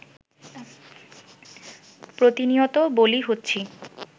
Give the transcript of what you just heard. প্রতিনিয়ত বলি হচ্ছি